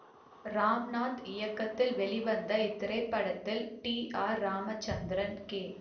ராம்நாத் இயக்கத்தில் வெளிவந்த இத்திரைப்படத்தில் டி ஆர் ராமச்சந்திரன் கே